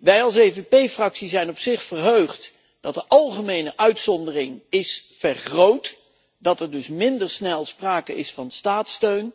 Wij als EVP fractie zijn op zich verheugd dat de algemene uitzondering is vergroot, dat er dus minder snel sprake is van staatssteun,